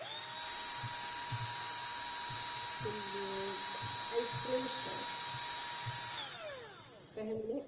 പിന്നെ Ice cream ഇഷ്ട്ടാണോ ഫെഹ്മിന്